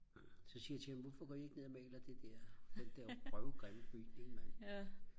så siger jeg til ham hvorfor går I ikke ned og maler den der røv grimme bygning mand